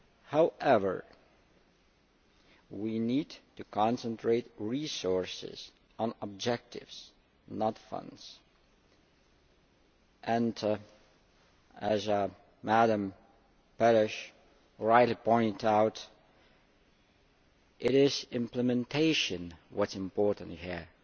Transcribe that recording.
However, we need to concentrate resources on objectives not funds, and as Madam Pérez rightly pointed out, it is implementation which is important here